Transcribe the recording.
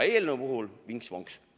Aga eelnõu kohta: vinks-vonks!